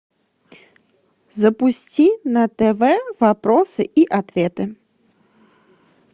запусти на тв вопросы и ответы